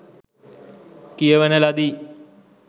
කියවන ලදී.